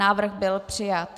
Návrh byl přijat.